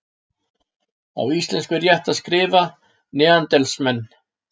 á íslensku er rétt að skrifa neanderdalsmenn